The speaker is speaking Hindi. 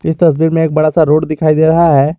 इस तस्वीर में बड़ा सा एक रोड दिखाई दे रहा है।